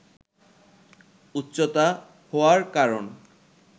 উচ্চতা হওয়ার কারণ